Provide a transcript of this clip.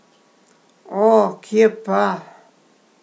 O, kje pa!